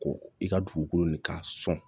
Ko i ka dugukolo ni ka sɔn